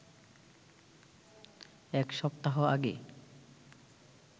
এক সপ্তাহ আগে